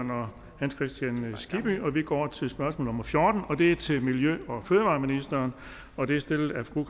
herre hans kristian skibby vi går til spørgsmål nummer fjortende det er til miljø og fødevareministeren og det er stillet af fru